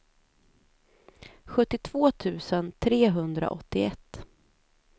sjuttiotvå tusen trehundraåttioett